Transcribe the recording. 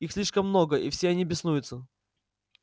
их слишком много и все они беснуются